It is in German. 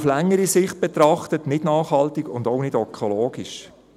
Auf längere Sicht betrachtet wäre dies nicht nachhaltig und auch nicht ökologisch.